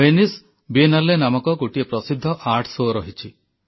Venice Biennale ନାମକ ଗୋଟିଏ ପ୍ରସିଦ୍ଧ କଳା ପ୍ରଦର୍ଶନ ରହିଛି